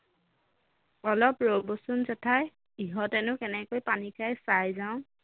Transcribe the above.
অলপ বৰচোন জেঠাই ইহঁতেনো কেনেকৈ পানী খায় চাই যাওঁ